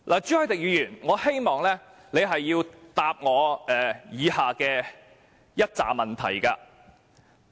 朱凱廸議員，我希望你回答我以下的一些問題。